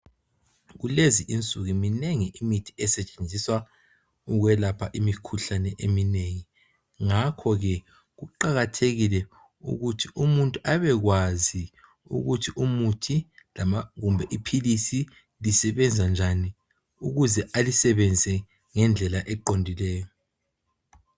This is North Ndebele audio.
Kulezi insuku minengi imithi esetshenziswa ukwelapha imikhuhlane eminengi ngakho ke kuqakathekile ukuthi umuntu abekwazi ukuthi umuthi kumbe aphilisi lisebenza njani ukuze alisebenze ngendlela eqondileyo.